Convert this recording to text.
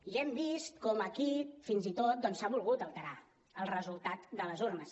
i hem vist com aquí fins i tot doncs s’ha volgut alterar el resultat de les urnes